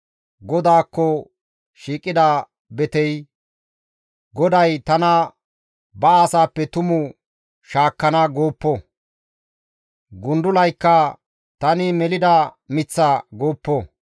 GODAAKKO shiiqida betey, «GODAY tana ba asaappe tumu shaakkana» gooppo. Gundulaykka, «Tani melida miththa» gooppo.